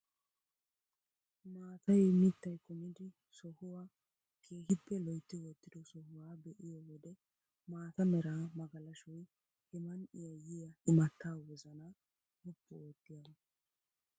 Maatay mittay kumidi sohuwaa keehippe loytti wottido sohuwaa be'iyoo wode maata mera magalashoy he man"iyaa yiyaa imattaa wozanaa woppu oottiyaagaa.